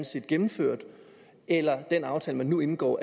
set gennemført eller er det den aftale man nu indgår